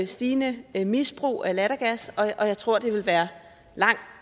stigende misbrug af lattergas og jeg tror det ville være en langt